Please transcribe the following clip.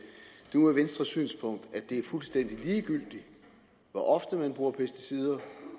nu er venstres synspunkt at det er fuldstændig ligegyldigt hvor ofte man bruger pesticider